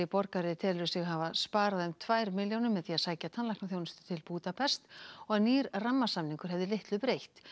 borgari telur sig hafa sparað um tvær milljónir með því að sækja tannlæknaþjónustu til Búdapest og að nýr rammasamningur hefði litlu breytt